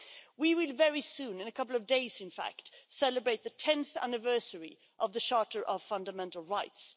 We will very soon in a couple of days in fact celebrate the tenth anniversary of the Charter of Fundamental Rights.